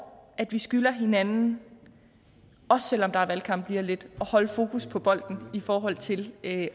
at vi skylder hinanden også selv om der er valgkamp lige om lidt at holde fokus på bolden i forhold til at